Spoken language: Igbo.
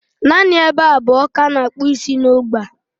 Naanị ebe abụọ ka a na-akpụ isi n'ógbè a.